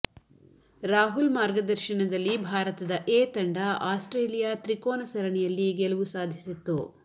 ರಾಹುಲ್ ಮಾರ್ಗದರ್ಶನದಲ್ಲಿ ಭಾರತದ ಎ ತಂಡ ಆಸ್ಟ್ರೇಲಿಯಾ ತ್ರಿಕೋನ ಸರಣಿಯಲ್ಲಿ ಗೆಲುವು ಸಾಧಿಸಿತ್ತು